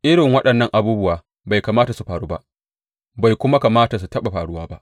Irin waɗannan abubuwa bai kamata su faru ba, bai kuma kamata su taɓa faruwa ba.